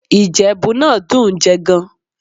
Ìjẹ̀bú náà dùn ún jẹ gan-an